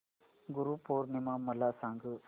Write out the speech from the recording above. गुरु पौर्णिमा मला सांग